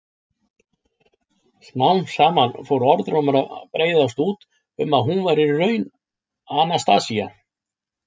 Smám saman fór sá orðrómur að breiðast út að hún væri í raun Anastasía.